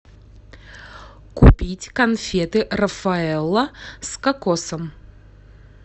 купить конфеты рафаэлло с кокосом